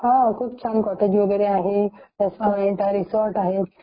हो तिथे खूप कॉटेज वगैरे आहेत रेस्टोरंट आहे रिसॉर्ट आहेत .